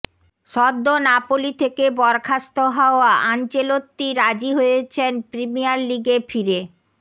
সদ্য নাপোলি থেকে বরখাস্ত হওয়া আনচেলত্তি রাজি হয়েছেন প্রিমিয়ার লিগে ফিরে